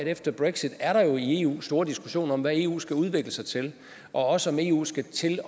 efter brexit er der i eu store diskussioner om hvad eu skal udvikle sig til og også om eu skal til